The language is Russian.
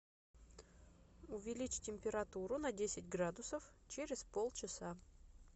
увеличь температуру на десять градусов через полчаса